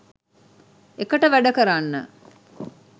එකට වැඩ කරන්න.